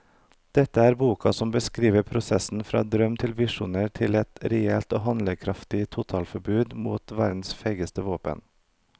Dette er boka som beskriver prosessen fra drøm til visjoner til et reelt og handlekraftig totalforbud mot verdens feigeste våpen.